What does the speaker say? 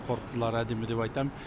қорытындылары әдемі деп айтамын